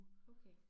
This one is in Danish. Okay